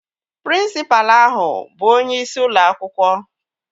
Prịnsịpalụ ahụ bụ onyeisi ụlọ akwụkwọ